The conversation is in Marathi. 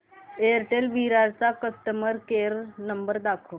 एअरटेल विरार चा कस्टमर केअर नंबर दाखव